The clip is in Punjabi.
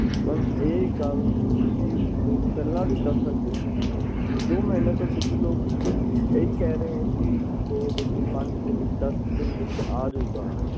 ਤਾਂ ਇਹ ਗੱਲ ਤੁਸੀਂ ਪਹਿਲਾਂ ਵੀ ਦੱਸ ਸਕਦੇ ਸੀ ਦੋ ਮਹੀਨੇ ਤੋਂ ਤੁਸੀਂ ਲੋਕ ਹੀ ਕਹਿ ਰਹੇ ਹੋ ਕਿ ਦੋ ਦਿਨ ਪੰਜ ਦਿਨ ਦੱਸ ਦਿਨ ਵਿਚ ਆ ਜੂਗਾ